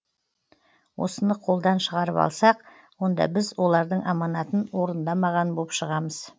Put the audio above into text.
осыны қолдан шығарып алсақ онда біз олардың аманатын орындамаған боп шығамыз